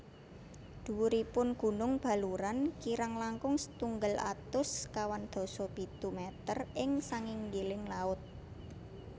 Dhuwuripun gunung Baluran kirang langkung setunggal atus sekawan dasa pitu meter ing sanginggiling laut